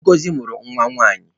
Ngozi mụrụ nwa nwanyị.